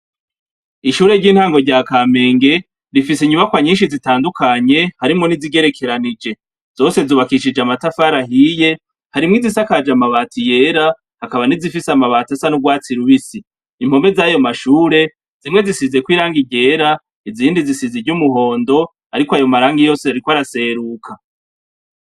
Ishure ry'itango rya Kamenge , rifise inyubakwa nyinshi zitandukanye harimwo nizigerekeranije. Zose zubakishije amatafari ahiye, harimwo izisakaje amabati yera , hakaba nizifise amabati asa n'ugwatsi rubisi. Impome zayo mashuri, zimwe zisizeko irangi ryera , izindi zisize iry'umuhondo ariko ayo marangi yose ariko araseruka.